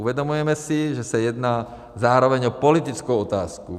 Uvědomujeme si, že se jedná zároveň o politickou otázku.